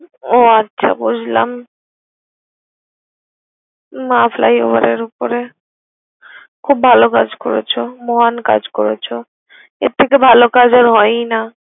ও আচ্ছা বুঝলাম, মা ফ্লাই ওভারের ওপরে খুব ভালো কাজ করেছ, মহান কাজ করেছ। এর থেকে ভালো কাজ আর হয়ই না।